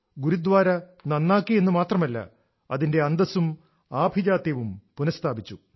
ഗുരുദ്വാര നന്നാക്കിയെന്ന് മാത്രമല്ല അതിന്റെ അന്തസ്സും ആഭിജാത്യവും പുനസ്ഥാപിച്ചു